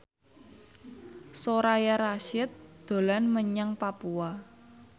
Soraya Rasyid dolan menyang Papua